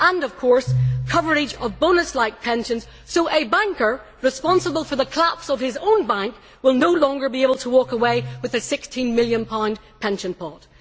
and, of course, coverage of bonus like pensions so a banker responsible for the collapse of his own bank will no longer be able to walk away with a GBP 16 million pension pot.